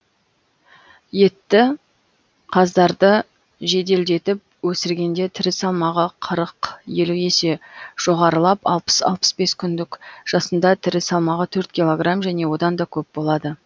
етті қаздарды жеделдетіп өсіргенде тірі салмағы қырық елу есе жоғарылап алпыс алпыс бес күндік жасында тірі салмағы төрт килограмм және одан да көп болады